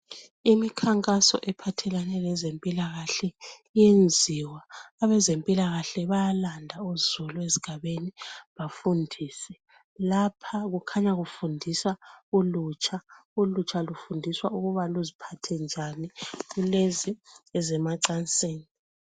Imikhankaso ephathelane lezempilakahle iyenziwa. Abezempilakahle bayalanda uzulu ezigabeni bafundise. Lapha kukhanya kufundiswa ulutsha. Ulutsha lufundiswa ukuba luziphathe njani kulezi ezemacansini.